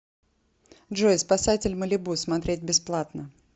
джой спасатель малибу смотреть бесплатно